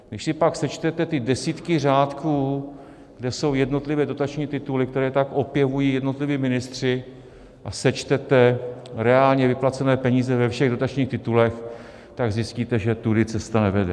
Když si pak sečtete ty desítky řádků, kde jsou jednotlivé dotační tituly, které tak opěvují jednotliví ministři, a sečtete reálně vyplacené peníze ve všech dotačních titulech, tak zjistíte, že tudy cesta nevede.